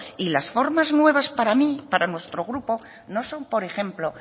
y las formas nuevas para mí para nuestro grupo no son por ejemplo